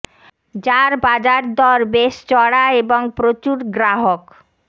যার বাজারর দর বেশ চড়া এবং প্রচুর গ্রাহক